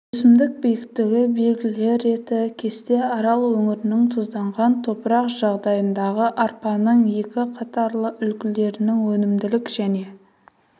өсімдік биіктігі белгілер реті кесте арал өңірінің тұзданған топырақ жағдайындағы арпаның екі қатарлы үлгілерінің өнімділік және